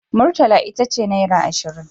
Murtala ita ce naira ashirin.